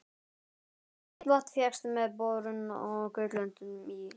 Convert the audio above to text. Heitt vatn fékkst með borun á Gautlöndum í